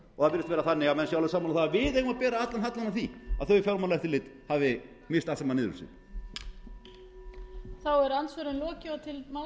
virðist vera þannig að menn séu sammála um að við eigum að bera allan hallann á því að þau fjármálaeftirlit hafi misst allt saman niður um sig